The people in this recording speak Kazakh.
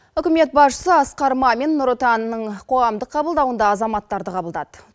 үкімет басшысы асқар мамин нұр отанның қоғамдық қабылдауында азаматтарды қабылдады